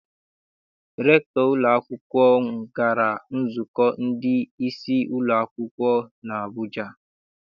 Rektọ ụlọakwụkwọ m gara nzukọ ndị isi ụlọ akwụkwọ n'Abuja.